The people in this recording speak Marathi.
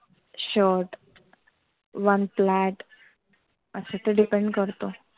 short one plait आस ते depend करत.